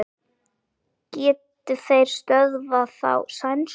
Geta þeir stöðvað þá sænsku?